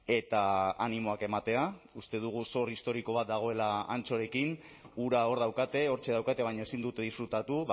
eta animoak ematea uste dugu zor historiko bat dagoela antsorekin hura hor daukate hortxe daukate baina ezin dute disfrutatu